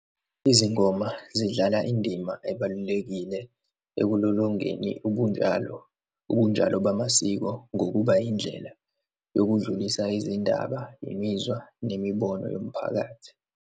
Izingoma zidlala indima ebalulekile ekulolongeni ubunjalo, ubunjalo bamasiko, ngokuba indlela yokudlulisa izindaba, imizwa nemibono yomphakathi.